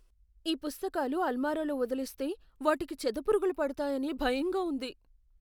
ఈ పుస్తకాలు అల్మారాలో వదిలేస్తే, వాటికి చెదపురుగులు పడతాయని భయంగా ఉంది.